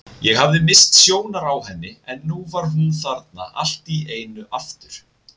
Ég hafði misst sjónar á henni en nú var hún þarna allt í einu aftur.